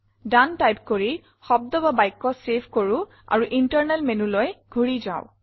দনে type কৰি শব্দ বা বাক্য চেভ কৰো আৰু ইণ্টাৰনেল menuলৈ ঘূৰি যাও